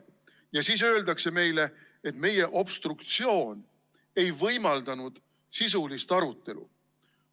Ja siis öeldakse meile, et meie obstruktsioon ei võimaldanud sisulist arutelu.